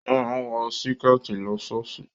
O máa ń wọ Síkẹ̀tí lọ ṣọ́ọ̀ṣì